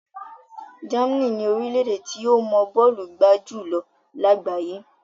Germany ni orílẹ̀ tí ó mọ bọ́ọ̀lù gbá jù lọ lágbàáyé.